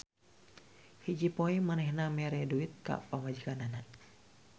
Hiji poe manehna mere duit ka pamajikanana.